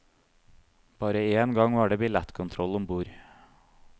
Bare en gang var det billettkontroll ombord.